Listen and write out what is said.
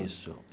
Isso.